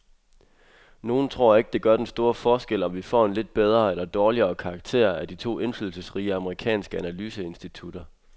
Nogle tror ikke, det gør den store forskel, om vi får en lidt bedre eller dårligere karakter af de to indflydelsesrige amerikanske analyseinstitutter.